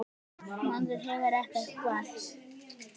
Maður hefur ekkert val.